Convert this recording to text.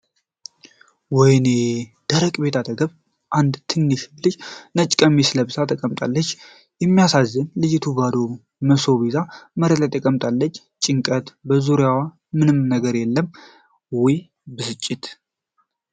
ወይኔ! ደረቅ ቤት አጠገብ፣ አንድ ትንሽ ልጅ ነጭ ቀሚስ ለብሳ ተቀምጣለች። የሚያሳዝን! ልጅቱ ባዶ መሶብ ይዛ መሬት ላይ ተቀምጣለች። ጭንቀት! በዙሪያው ምንም ነገር የለም። ዋይ! ብስጭት!